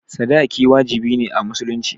sadaki wajibi ne a musulunci